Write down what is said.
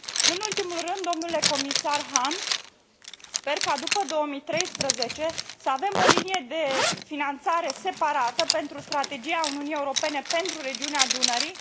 Nu în ultimul rând, dle comisar Hahn, sper ca, după 2013, să avem o linie de finanțare separată pentru Strategia Uniunii Europene pentru regiunea Dunării.